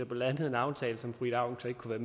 blev landet en aftale som fru ida auken så ikke kunne